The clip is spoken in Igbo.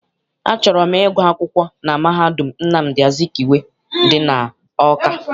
Achọrọ m ịgụ akwụkwọ na mahadum Nnamdi Azikiwe dị n'Awka.